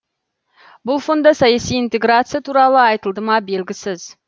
бұл фонда саяси интеграция туралы айтылды ма белгісіз